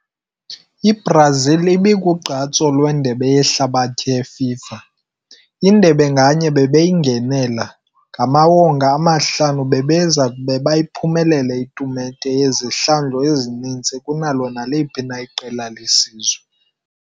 Brazil sele umntu kuba wonke FIFA World Cup kokuba engene, zange efuna a kuncedwe dlala-ngaphandle. Kunye ezintlanu amagama eencwadi, baya kuba uphumelele tournament kwi ngaphezulu ezithile kunokuba naliphi na iqela lesizwe.